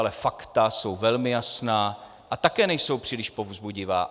Ale fakta jsou velmi jasná a také nejsou příliš povzbudivá.